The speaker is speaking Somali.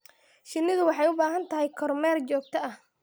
Shinnidu waxay u baahan tahay kormeer joogto ah.